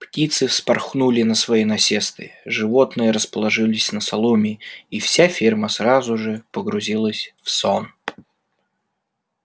птицы вспорхнули на свои насесты животные расположились на соломе и вся ферма сразу же погрузилась в сон